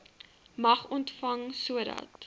mag ontvang sodat